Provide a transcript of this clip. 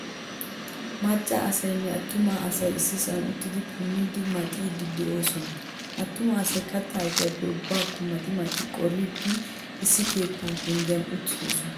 Macca asaynne attuma asay issisan uttidi punidi maxidi deosona. Attuma asay katta ayfiyappe aybako maxi maxi qoridi issi keetta penggiyan uttidosna.